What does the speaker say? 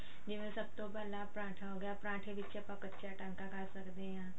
ਜਿਵੇਂ ਸਭ ਤੋਂ ਪਹਿਲਾਂ ਪਰਾਂਠਾ ਹੋ ਗਿਆ ਪਰਾਂਠੇ ਵਿੱਚ ਆਪਾਂ ਕੱਚਾ ਟਾਂਕਾ ਕਰ ਸਕਦੇ ਆਂ